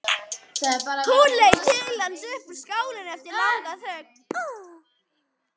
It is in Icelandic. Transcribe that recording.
Hún leit til hans upp úr skálinni eftir langa þögn.